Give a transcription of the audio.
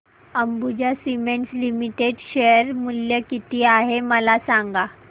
Ambuja cements limited share मूल्य किती आहे मला सांगा